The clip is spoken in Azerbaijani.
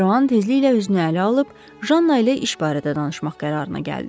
De Rohan tezliklə özünü ələ alıb Janna ilə iş barədə danışmaq qərarına gəldi.